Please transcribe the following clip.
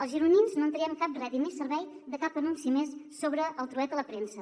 els gironins no en traiem cap rèdit ni servei de cap anunci més sobre el trueta a la premsa